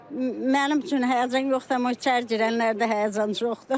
Mənim üçün həyəcan yoxdur, amma içəri girənlərdə həyəcan çoxdur.